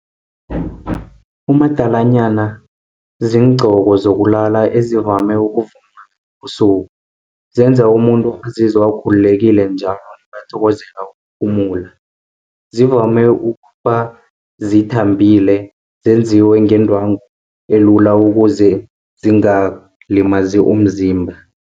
Umadalanyana, ziingqoko zokulala ezivame ukuvunulwa ebusuku, zenza umuntu azizwe akhululekile njalo nakathokozela ukuphumula. Zivame ukuba zithambile zenziwe ngendrwangu elula ukuze zingalimazi umzimba.